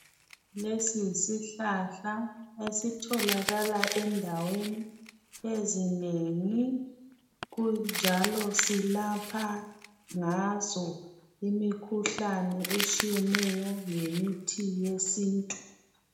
lesi yisihlahla esitholakala endaweni ezinengi kunjalo silapha ngaso imikhuhlane etshiyeneyo ngemithi yesintu